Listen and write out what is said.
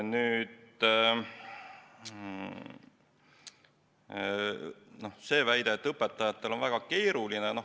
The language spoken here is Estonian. Nüüd see väide, et õpetajatel on väga keeruline.